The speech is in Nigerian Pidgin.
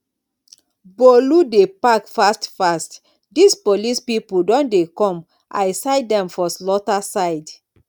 bolu dey pack fast fast dis police people don dey come i sight dem for slaughter side